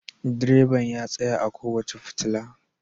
Direban ya tsaya a kowace fitila.